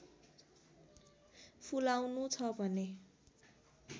फुलाउनु छ भने